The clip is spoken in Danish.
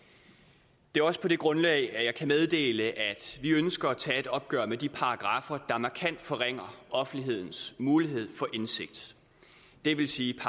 det er også på det grundlag at jeg kan meddele at vi ønsker at tage et opgør med de paragraffer der markant forringer offentlighedens mulighed for indsigt det vil sige